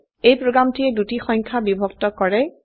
এই প্ৰোগ্ৰামটিয়ে দুটি সংখ্যা বিভক্ত কৰে